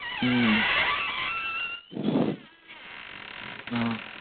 हम्म अं